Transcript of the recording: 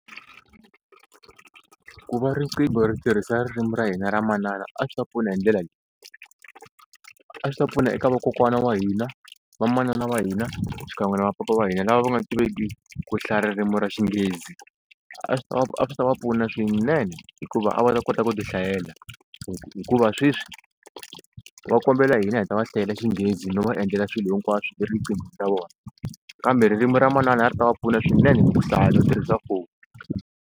Ku va riqingho ri tirhisa ririmi ra hina ra manana a swi ta pfuna hi ndlela leyi, a swi ta pfuna eka vakokwana wa hina, vamanana wa hina xikan'we na va papa va hina lava va nga tiveki ku hlaya ririmi ra xinghezi a swi ta va a swi ta va pfuna swinene hikuva a va ta kota ku ti hlayela hikuva sweswi va kombela hina hi ta va hlayela xinghezi no va endlela swilo hinkwaswo eriqinghweni ra vona kambe ririmi ra manana a ri ta va pfuna swinene ku hlaya no swi tirhisa foni.